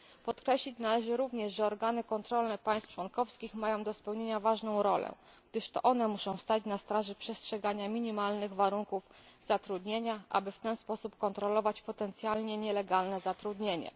Podkreślić należy również, że organy kontrolne państw członkowskich mają do spełnienia ważną rolę, gdyż to one muszą stać na straży przestrzegania minimalnych warunków zatrudnienia, aby w ten sposób kontrolować potencjalnie nielegalne zatrudnienie.